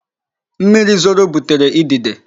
Mmiri zoro butere idide.